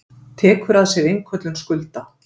Tekur að sér innköllun skulda.